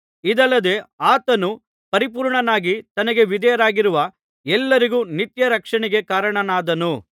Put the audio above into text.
ಇದಲ್ಲದೆ ಆತನು ಪರಿಪೂರ್ಣನಾಗಿ ತನಗೆ ವಿಧೇಯರಾಗಿರುವ ಎಲ್ಲರಿಗೂ ನಿತ್ಯ ರಕ್ಷಣೆಗೆ ಕಾರಣನಾದನು